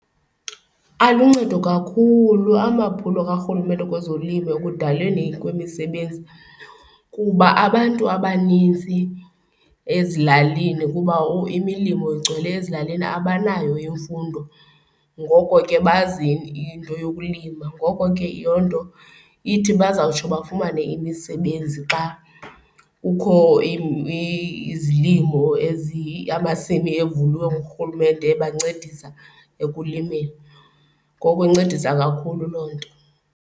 Aluncedo kakhulu amaphulo karhulumente kwezolimo ekudaleni kwemisebenzi kuba abantu abaninzi ezilalini kuba imilomo igcwele ezilalini abanayo imfundo ngoko ke bazi into yokulima. Ngoko ke yiloo nto ithi bazawutsho bafumane imisebenzi xa kukho izilimo ezi amasimi evuliweyo ngurhulumente ebancedisa ekulimeni, ngoko incedisa kakhulu loo nto.